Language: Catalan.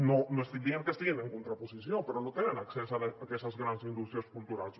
no estic dient que estiguin en contraposició però no tenen accés a aquestes grans indústries culturals